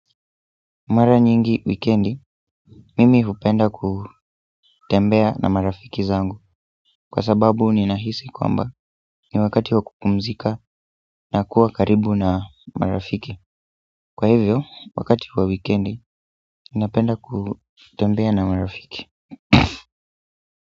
Mara nyingi wikendi, mimi hupenda kutembea na marafiki zangu kwa sababu ninahisi kwamba ni wakati wa kupumzika na kuwa karibu na marafiki kwa hivyo, wakati wa wikendi, napenda kutembea na marafiki.